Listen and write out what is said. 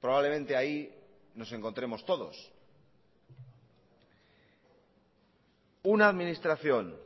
probablemente ahí nos encontremos todos una administración